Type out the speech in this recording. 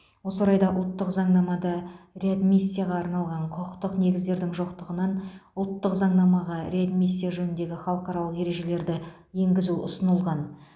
осы орайда ұлттық заңнамада реадмиссияға арналған құқықтық негіздердің жоқтығынан ұлттық заңнамаға реадмиссия жөніндегі халықаралық ережелерді енгізу ұсынылған